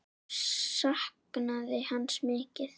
Hún saknaði hans mikið.